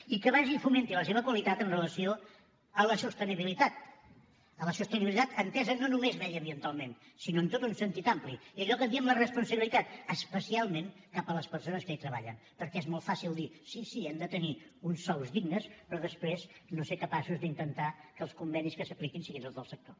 i que basi i fomenti la seva qualitat amb relació a la sostenibilitat a la sostenibilitat entesa no només mediambientalment sinó en tot un sentit ampli i allò que en diem la responsabilitat especialment cap a les persones que hi treballen perquè és molt fàcil dir sí sí han de tenir uns sous dignes però després no ser capaços d’intentar que els convenis que s’apliquin siguin els del sector